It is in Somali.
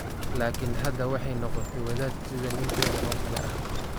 Laakiin hadda waxay noqotay wadaad sida ninkeeda oo kale ah.